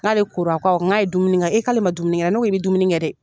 N k'ale kora ko awɔ n k'a ye dumuni kɛ e k'ale ma dumuni kɛ ne ko i bɛ dumuni kɛ dɛ